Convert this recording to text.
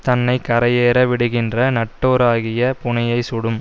தன்னை கரையேற விடுகின்ற நட்டோராகிய புணையைச் சுடும்